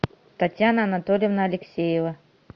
татьяна анатольевна алексеева